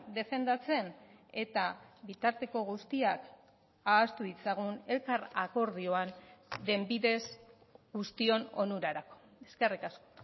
defendatzen eta bitarteko guztiak ahaztu ditzagun elkar akordioan den bidez guztion onurarako eskerrik asko